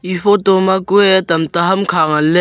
e photo ma kue tam ta hamkha ngan ley.